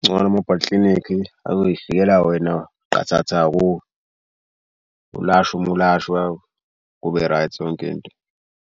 Kungcono mobile klinikhi azoy'fikela wena qathatha kuwe ulashwa uma ulashwa kube right yonke into.